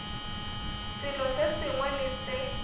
selo se sengwe le se